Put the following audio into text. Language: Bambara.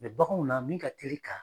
baganw na min ka teli ka